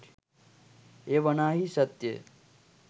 එය වනාහී සත්‍යය